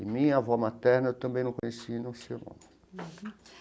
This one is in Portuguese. E minha avó materna eu também não conheci, não sei o nome.